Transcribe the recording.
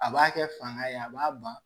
A b'a kɛ fanga ye a b'a ban